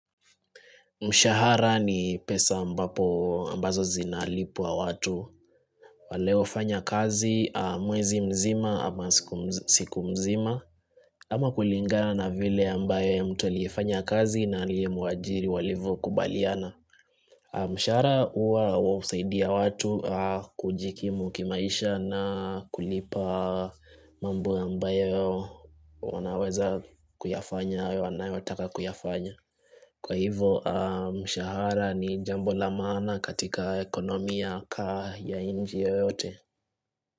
Mshahara ni pesa ambazo zinalipa watu. Waliofanya kazi mwezi mzima ama siku mzima. Ama kulingana na vile ambayo mtu aliyefanya kazi na aliyemuajiri walivyokubaliana. Mshahara husaidia watu kujikimu kimaisha na kulipa mambo ambayo wanaweza kuyafanya au wanayotaka kuyafanya. Kwa hivo mshahara ni jambo la maana katika economy ya inchi yoyote.